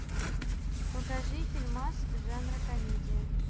покажи фильмас жанра комедия